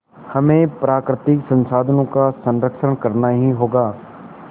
हमें प्राकृतिक संसाधनों का संरक्षण करना ही होगा